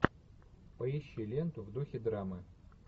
поищи ленту в духе драмы